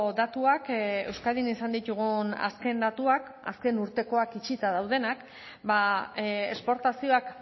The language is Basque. datuak euskadin izan ditugun azken datuak azken urtekoak itxita daudenak ba esportazioak